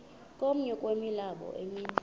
komnye wemilambo emi